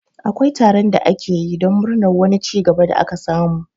Akwai taron da ake yi don murnar wani cigaba da aka samu